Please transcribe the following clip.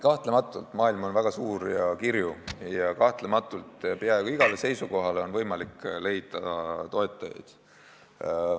Kahtlematult on maailm väga suur ja kirju ja peaaegu igale seisukohale on võimalik leida toetajaid.